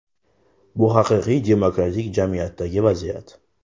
Bu haqiqiy demokratik jamiyatdagi vaziyat.